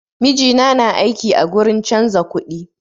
Mijina na aiki a gurin canza kuɗi